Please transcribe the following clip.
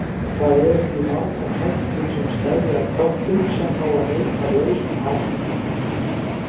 Það eru því margar hættur sem steðja að köttum sem fá að leika lausum hala.